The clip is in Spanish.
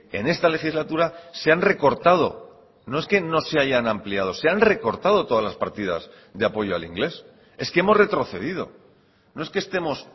en esta legislatura se han recortado no es que no se hayan ampliado se han recortado todas las partidas de apoyo al inglés es que hemos retrocedido no es que estemos